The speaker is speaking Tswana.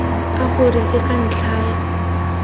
a gore ke ka ntlha